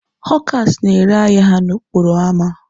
Họkas na-ere ahịa ha n'okporo ámá